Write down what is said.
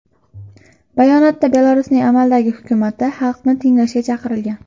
Bayonotda Belarusning amaldagi hukumati xalqni tinglashga chaqirilgan.